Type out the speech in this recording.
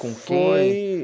Com quem? Foi...